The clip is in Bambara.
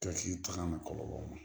taga ma kɔlɔlɔ